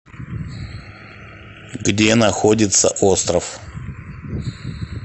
где находится остров